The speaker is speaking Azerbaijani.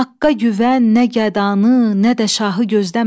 Haqqqa güvən, nə gədanı, nə də şahı gözləmə.